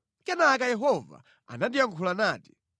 Kenaka Yehova anandiyankhula nati: